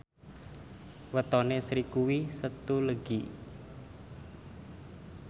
wetone Sri kuwi Setu Legi